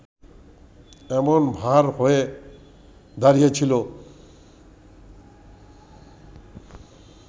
এমন ভার হয়ে দাঁড়িয়েছিল